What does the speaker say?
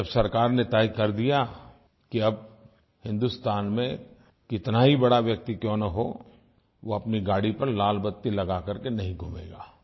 जब सरकार ने तय कर दिया कि अब हिंदुस्तान में कितना ही बड़ा व्यक्ति क्यों न हो वो अपनी गाड़ी पर लाल बत्ती लगा कर के नहीं घूमेगा